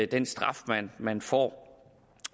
den straf man får